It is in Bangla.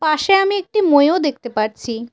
পাশে আমি একটি মইও দেখতে পারছি।